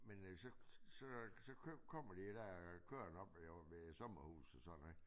Men øh så så så kommer de dér kørende oppe ved ved sommerhuset sådan ikke